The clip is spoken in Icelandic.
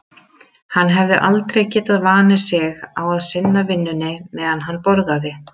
Hann hafði aldrei getað vanið sig á að sinna vinnunni meðan hann borðaði.